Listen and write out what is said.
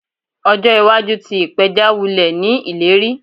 Ojo iwaju ti ipeja wulẹ ni ileri